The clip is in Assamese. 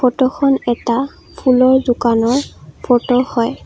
ফটোখন এটা ফুলৰ দোকানৰ ফটো হয়।